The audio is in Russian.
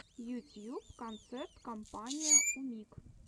ютьюб концерт компания умиг